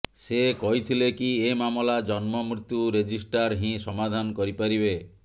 ସେ କହିଥିଲେ କି ଏ ମାମଲା ଜନ୍ମମୃତ୍ୟୁ ରେଜିଟ୍ରାର୍ ହିଁ ସମାଧାନ କରି ପାରିବେ